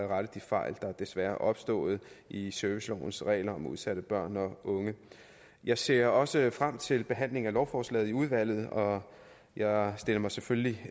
rettet de fejl der desværre er opstået i servicelovens regler om udsatte børn og unge jeg ser også frem til behandling af lovforslaget i udvalget og jeg stiller mig selvfølgelig